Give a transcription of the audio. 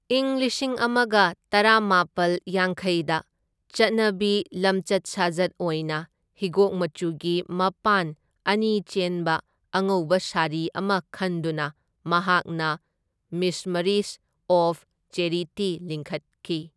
ꯏꯪ ꯂꯤꯁꯤꯡ ꯑꯃꯒ ꯇꯔꯥꯃꯥꯄꯜ ꯌꯥꯡꯈꯩꯗ ꯆꯠꯅꯕꯤ ꯂꯝꯆꯠ ꯁꯥꯖꯠ ꯑꯣꯏꯅ ꯍꯤꯒꯣꯛ ꯃꯆꯨꯒꯤ ꯃꯄꯥꯟ ꯑꯅꯤ ꯆꯦꯟꯕ ꯑꯉꯧꯕ ꯁꯥꯔꯤ ꯑꯃ ꯈꯟꯗꯨꯅ ꯃꯍꯥꯛꯅ ꯃꯤꯁꯃꯔꯤꯁ ꯑꯣꯐ ꯆꯦꯔꯤꯇꯤ ꯂꯤꯡꯈꯠꯈꯤ꯫